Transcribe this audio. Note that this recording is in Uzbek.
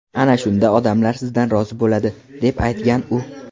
Ana shunda odamlar sizdan rozi bo‘ladi”, deb aytgan u.